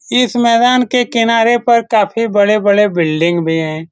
इस मैदान के किनारे पर काफी बड़े-बड़े बिल्डिंग भी है।